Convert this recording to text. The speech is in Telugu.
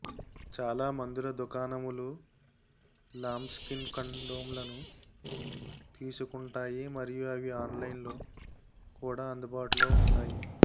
చాలా మందుల దుకాణములు లాంబ్స్కిన్ కండోమ్లను తీసుకుంటాయి మరియు అవి ఆన్లైన్లో కూడా అందుబాటులో ఉంటాయి